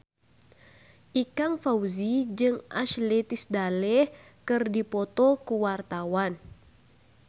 Ikang Fawzi jeung Ashley Tisdale keur dipoto ku wartawan